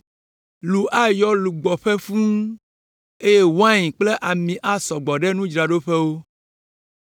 Lu ayɔ lugbɔƒe fũu, eye wain kple ami asɔ gbɔ ɖe nudzraɖoƒewo.